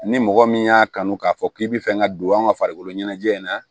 Ni mɔgɔ min y'a kanu k'a fɔ k'i bɛ fɛn ka don an ka farikoloɲɛnajɛ in na